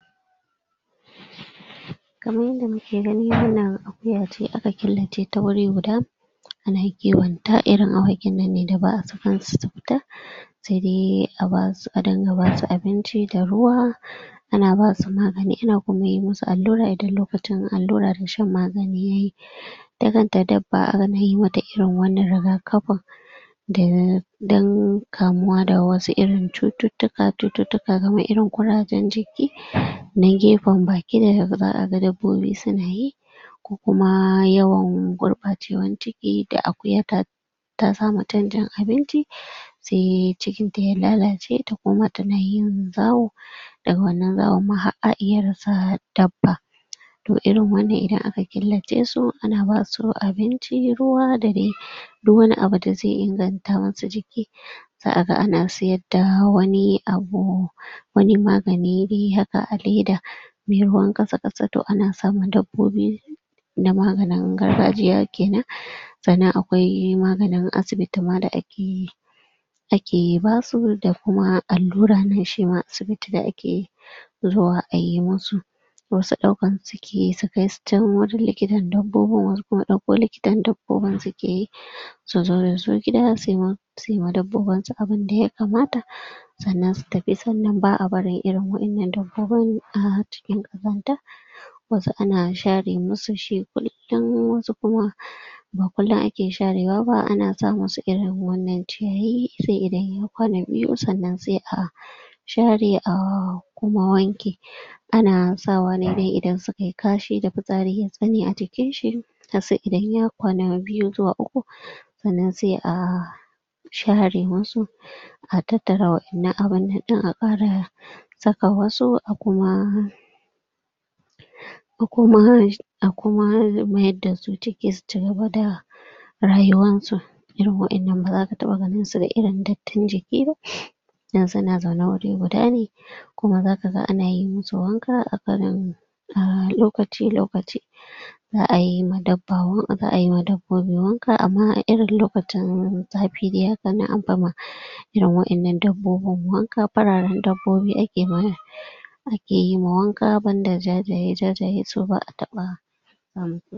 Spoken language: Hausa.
Kaman yanda muke gani wannan akuya ce aka killace ta wuri guda, ana kiwon ta. Irin awakin nan ne da ba'a sakansu su fita. Sai dai a basu a dinga basu abinci da ruwa. Ana basu magani ana kuma yi musu allura idan lokacin allura da shan magani yayi. Ita kanta dabba ana yi ma ta irin wannan riga-kafin, da dan kamuwa da wasu irin cututtuka ka cututtuka kamar irin ƙurajen jiki, na gefen baki da za'a ga dabbobi su na yi. Kuma yawan gurɓacewan ciki da akuya ta ta samu canjin abinci sai cikin ta ya lalace ta koma ta na yin zawo, daga wannan zawon ma har a iya rasa dabba. To irin wannan idan aka killace su ana basu abinci ruwa da dai duk wani abu da zai inganta musu jiki. Za'a ga ana sayadda wani abu wani magani dai haka a leda mai ruwan ƙasa-ƙasa to ana sama dabbobi na maganin gargajiya kenan. Sannan akwai maganin asibiti ma da ake yi, ake basu da kuma allura na shi ma asibiti da ake zuwa ayi musu. Wasu ɗaukansu suke yi su kaisu can wurin likitan dabbobin wasu kuma ɗauko likitan dabbobin suke yi. su zo da su gida su yi su yi ma dabbobin su abunda ya kamata. sannan su tafi. Sannan ba'a barin irin waƴannan dabb obin a cikin ƙazanta. Wasu ana share musu shi kullum, wasu kuma ba kullum ake sharewa ba. Ana sa musu irin wannan ciyayi sai idan ya kwana biyu sannan sai a share a kuma wanke. Ana sawa don idan suka yi kashi da fitsari a jikin shi, idan ya kwana biyu zuwa uku sannan sai a share musu. A tattara waƴannan abun nan ɗin a ƙara saka wasu a kuma a kuma shi a kuma mayar da su ciki su cigaba da rayuwan su. Irin waƴannan ba za ka taɓa ganin su da irin datti jiki ba, don su na zaune wuri guda ne. Kuma za ka ga ana yi musu wanka, a lokaci-lokaci. Za'a yi ma dabba wank, za'a yi ma dab bobi wanka amma a irin lokacin zafi dai hakan nan anfi ma irin waƴannan dabbobin wanka. Fararen dabbobi ake ma wa iya yi ma wanka banda jajaye, jajaye su ba'a taɓawa. umm